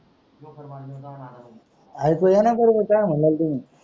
आयकू येनाही बरोबर काय मनल्या तुम्ही.